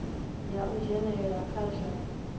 ya u dzhenelela kha zwa